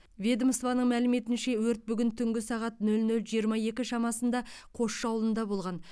ведомствоның мәліметінше өрт бүгін түнгі сағат нөл нөл жиырма екі шамасында қосшы аулында болған